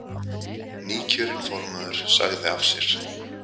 Nýkjörinn formaður sagði af sér